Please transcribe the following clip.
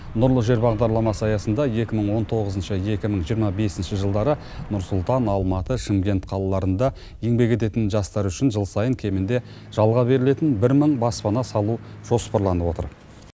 нұрлы жер бағдарламасы аясында екі мың он тоғызыншы екі мың жиырма бесінші жылдары нұр сұлтан алматы шымкент қалаларында еңбек ететін жастар үшін жыл сайын кемінде жалға берілетін бір мың баспана салу жоспарланып отыр